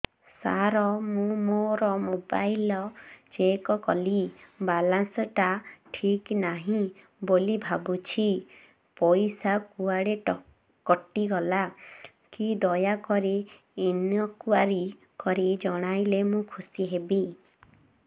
ସାର ମୁଁ ମୋର mobile check କଲି ବାଲାନ୍ସ ଟା ଠିକ ନାହିଁ ବୋଲି ଭାବୁଛି ପଇସା କୁଆଡେ କଟି ଗଲା କି ଦୟାକରି ଇନକ୍ୱାରି କରି ଜଣାଇଲେ ମୁଁ ଖୁସି ହେବି